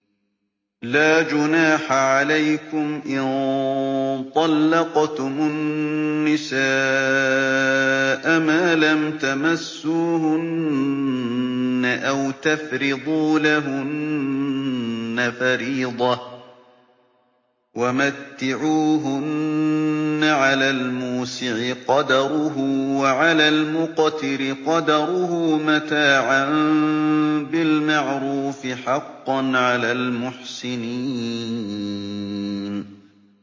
لَّا جُنَاحَ عَلَيْكُمْ إِن طَلَّقْتُمُ النِّسَاءَ مَا لَمْ تَمَسُّوهُنَّ أَوْ تَفْرِضُوا لَهُنَّ فَرِيضَةً ۚ وَمَتِّعُوهُنَّ عَلَى الْمُوسِعِ قَدَرُهُ وَعَلَى الْمُقْتِرِ قَدَرُهُ مَتَاعًا بِالْمَعْرُوفِ ۖ حَقًّا عَلَى الْمُحْسِنِينَ